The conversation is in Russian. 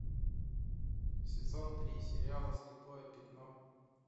сезон три сериала слепое пятно